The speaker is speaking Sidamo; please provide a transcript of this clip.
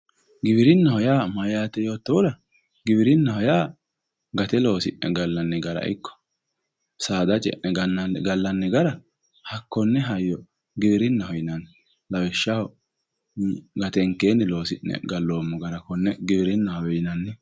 Giwirinna yaa mayate yoottohura giwirinaho yaa gate loosi'ne gallanni gara ikko saada ce'ne gallanni gara hakkone hayyo giwirinaho yinnanni lawishshaho gatenkenni loosi'ne gallommmo gara konne giwirinahowe yinnanni.